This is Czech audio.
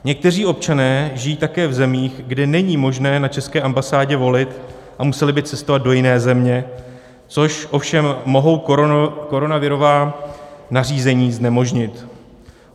Někteří občané žijí také v zemích, kde není možné na české ambasádě volit, a museli by cestovat do jiné země, což ovšem mohou koronavirová nařízení znemožnit.